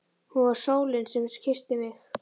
Hún var sólin sem kyssti mig.